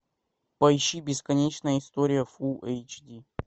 поищи бесконечная история фулл эйч ди